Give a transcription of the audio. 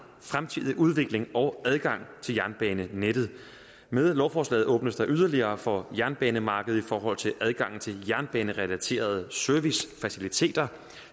fremtidige udvikling af og adgang til jernbanenettet med lovforslaget åbnes der yderligere for jernbanemarkedet i forhold til adgangen til jernbanerelaterede servicefaciliteter